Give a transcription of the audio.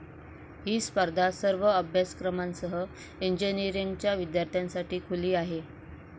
ही स्पर्धा सर्व अभ्यासक्रमांसह इंजिनिअरींगच्या विद्यार्थ्यांसाठी खुली आहे.